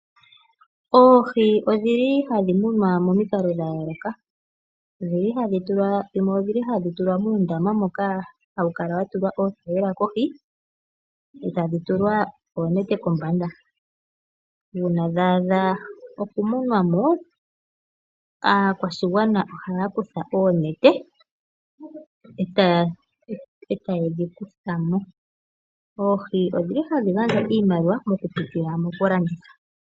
Oohi odhi li hadhi munwa momikalo dha yooloka, dhimwe odhi li hadhi tulwa muundama moka ha wukala wa tulwa oothayila kohi eta dhitulwa oonete kombanda. Uuna dha adha oku munwa mo, aakwashigwana oha yakutha oonete eta yedhi kuthamo. Oohi odhili hadhi gandja iimaliwa mokupitila mokulanditha.